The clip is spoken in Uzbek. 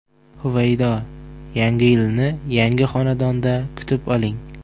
Huvaydo: Yangi yilni yangi xonadonda kutib oling!.